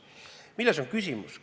Milles on küsimus?